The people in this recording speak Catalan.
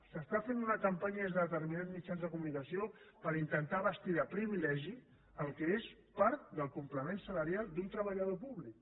s’està fent una campanya des de determinats mitjans de comunicació per intentar vestir de privilegi el que és part del complement salarial d’un treballador públic